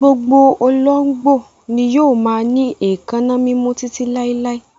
Gbogbo olóńgbò ni yóò máa ní èékánná mímú títí láíláí.